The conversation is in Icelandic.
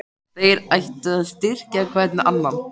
Þeir ættu að styrkja hver annan.